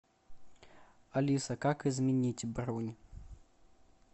алиса как изменить бронь